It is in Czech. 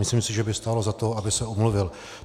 Myslím si, že by stálo za to, aby se omluvil.